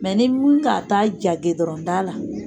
Mɛ ni mun ka ta ja gɛdɔrɔnda la